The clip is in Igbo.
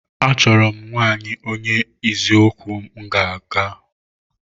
Achọrọ m nwaanyị onye eziokwu m ga-aga.